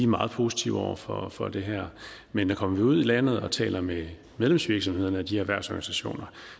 meget positive over for for det her men kommer vi ud i landet og taler med medlemsvirksomhederne og de erhvervsorganisationer